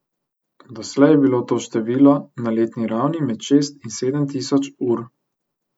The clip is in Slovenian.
Doslej je bilo to število na letni ravni med šest in sedem tisoč ur.